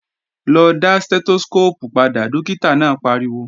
Lọ dá Stẹ́tóskóópù padà, dókítà náà pariwo!